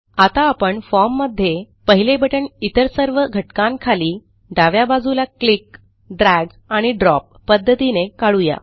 आता आपण फॉर्म मध्ये पहिले बटण इतर सर्व घटकांखाली डाव्या बाजूला क्लिक ड्रॅग आणि ड्रॉप पध्दतीने काढू या